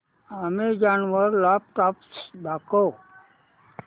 Amazon वर laptops दाखव